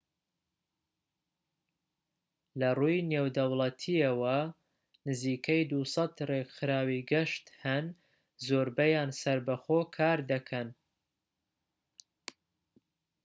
لەڕووی نێودەوڵەتیەوە، نزیکەی ٢٠٠ ڕێکخراوی گەشت هەن. زۆربەیان سەربەخۆ کار دەکەن